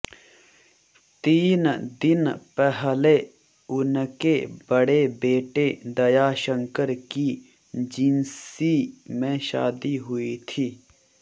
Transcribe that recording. तीन दिन पहले उनके बड़े बेटे दयाशंकर की जिंसी में शादी हुई थी